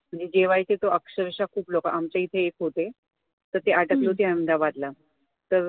म्हणजे जेवायचे तर अक्षरशः खूप लोकं आमच्या इथे येत होते तर ते अटकले होते अहमदाबादला तर